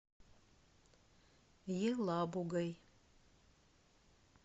елабугой